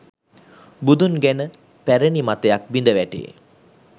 බුදුන් ගැන පැරැණි මතයක් බිඳ වැටේ